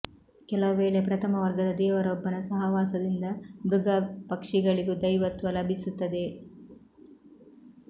ಕೆಲವು ವೇಳೆ ಪ್ರಥಮ ವರ್ಗದ ದೇವರೊಬ್ಬನ ಸಹವಾಸದಿಂದ ಮೃಗ ಪಕ್ಷಿಗಳಿಗೂ ದೈವತ್ವ ಲಭಿಸುತ್ತದೆ